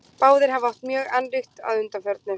Báðir hafa átt mjög annríkt að undanförnu.